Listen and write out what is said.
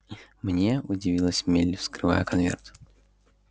мне удивилась мелли вскрывая конверт